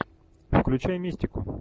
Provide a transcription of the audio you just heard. включай мистику